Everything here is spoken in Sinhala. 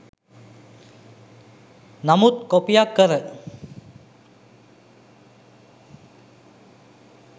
නමුත් කොපියක් කර